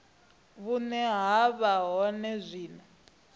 vhune ha vha hone zwino